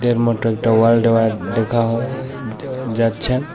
এর মধ্যে একটা দেওয়াল দেওয়া দেখা হয় যাচ্ছে--